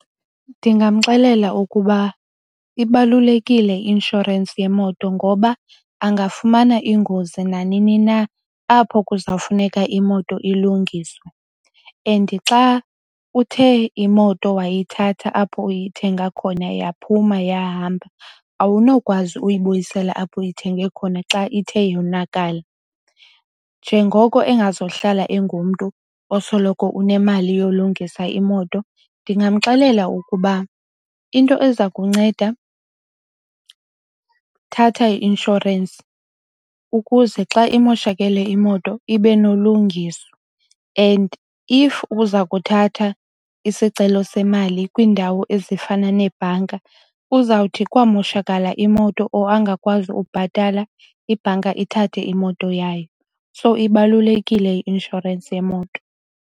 Ndingamxelela ukuba ibalulekile i-inshorensi yemoto ngoba angafumana ingozi nanini na apho kuzawufuneka imoto ilungiswe and xa uthe imoto wayithatha apho uyithenga khona yaphuma yahamba awunokwazi uyibuyisela apho uyithenge khona xa ithe yonakala. Njengoko engazuhlala engumntu osoloko unemali yolungisa imoto, ndingamxelela ukuba into eza kunceda, thatha i-inshorensi ukuze xa imoshakele imoto ibe nolungiswa. And if uza kuthatha isicelo semali kwiindawo ezifana nebhanka uzawuthi kwamoshakala imoto or angakwazi ubhatala ibhanka ithathe imoto yayo. So, ibalulekile i-inshorensi yemoto.